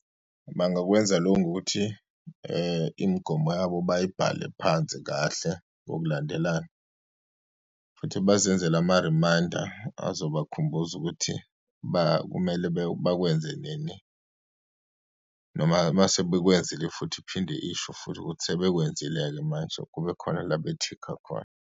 Bangakwenza lokhu ngokuthi imigomo yabo bayibhale phansi kahle ngokulandelana futhi bazenzele ama-reminder azobakhumbuza ukuthi kumele bakwenze nini, noma uma sebekwenzile futhi, iphinde isho futhi ukuthi sebekwenzile-ke manje, kube khona la be-tick-a khona.